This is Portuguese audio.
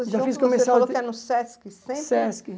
até no Sesc. Sesc